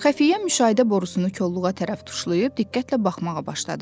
Xəfiyyə müşahidə borusunu kolluğa tərəf tuşlayıb diqqətlə baxmağa başladı.